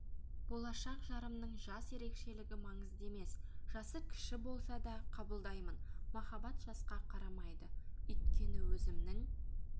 болашақ жарымның жас ерекшелігі маңызды емес жасы кіші болса да қабылдаймын махаббат жасқа қарамайды өйткені өзімнің